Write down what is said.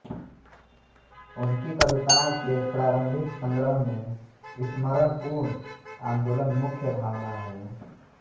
उनकी कविताओं के प्रारंभिक संग्रह में स्मरणपूर्ण आंदोलन मुख्य भावना है